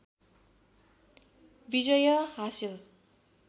विजय हासिल